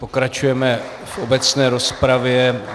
Pokračujeme v obecné rozpravě.